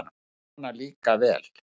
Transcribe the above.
Svona líka vel!